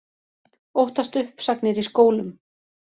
Óttast uppsagnir í skólum